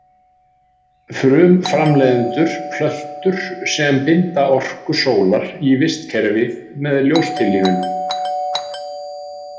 Frumframleiðendur- plöntur sem binda orku sólar í vistkerfið með ljóstillífun.